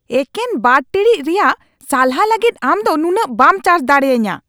ᱮᱠᱮᱱ ᱒ ᱴᱤᱲᱤᱡ ᱨᱮᱭᱟᱜ ᱥᱟᱞᱦᱟ ᱞᱟᱹᱜᱤᱫ ᱟᱢ ᱫᱚ ᱱᱩᱱᱟᱹᱜ ᱵᱟᱢ ᱪᱟᱨᱡ ᱫᱟᱲᱮᱭᱟᱹᱧᱟ !